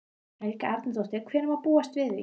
Helga Arnardóttir: Hvenær má búast við því?